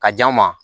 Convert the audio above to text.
Ka di an ma